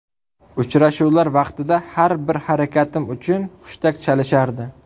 Uchrashuvlar vaqtida har bir harakatim uchun hushtak chalishardi.